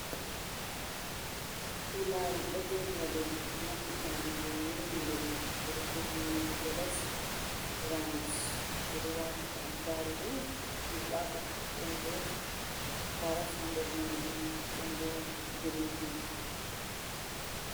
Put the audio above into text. Kulaaru ɗo joɗi haa leddi, maɓɓita ɗum be nyiri nder man. Ɓe ɗo defi nyiiri jolof rays, ɓe ɗo waati attaarugu ɗirɓaaka, ɗon bo karas haa nder nyamdu man, ɗon bo girin bins.